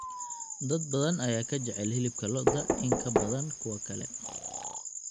Dad badan ayaa ka jecel hilibka lo'da in ka badan kuwa kale.